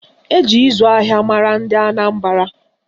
Eji ịzụ ahịa mara ndị Anambara